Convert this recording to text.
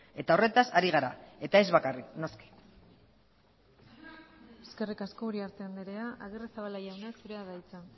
eta horretaz ari gara eta ez bakarrik noski eskerrik asko uriarte andrea agirrezabala jauna zurea da hitza